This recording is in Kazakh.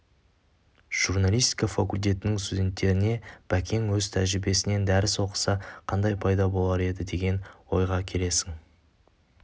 журналистика факультетінің студенттеріне бәкең өз тәжірбиесінен дәріс оқыса қандай пайда болар еді деген ойға келесің